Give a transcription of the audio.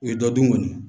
U ye dɔ dun kɔni